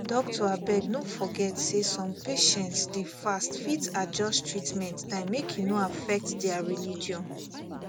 doctor abeg no forget say some patients dey fast fit adjust treatment time make e no affect their religion